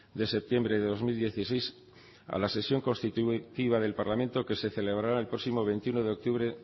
de septiembre de dos mil dieciséis a la sesión constitutiva del parlamento que se celebrará el próximo día veintiuno de octubre